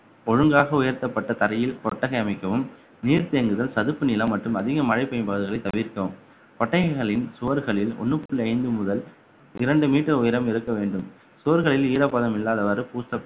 ஒழுங்காக உயர்த்தப்பட்ட தரையில் கொட்டகை அமைக்கவும் நீர் தேங்குதல் சதுப்பு நிலம் மற்றும் அதிக மழை பெய்யும் பகுதிகளை தவிர்க்கவும் ஒட்டகங்களின் சுவர்களில் ஒண்ணு புள்ளி ஐந்து முதல் இரண்டு meter உயரம் இருக்க வேண்டும் சுவர்களில் ஈரப்பதம் இல்லாதவாறு பூசப்~